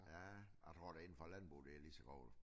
Ja jeg tror da inden for landbruget det lige så grov